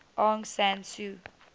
aung san suu